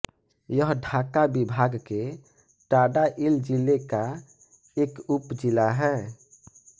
यह ढाका विभाग के टाङाइल ज़िले का एक उपजिला है